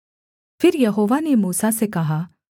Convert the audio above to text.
फिर यहोवा ने मूसा से कहा